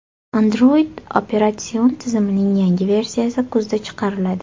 Android operatsion tizimining yangi versiyasi kuzda chiqariladi.